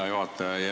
Hea juhataja!